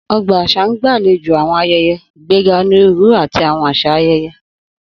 Ogba aṣa n gbalejo awọn ayẹyẹ, igbega oniruuru ati awọn aṣa ayẹyẹ